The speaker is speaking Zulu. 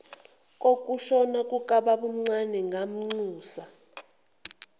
kokushona kukababomncane ngamnxusa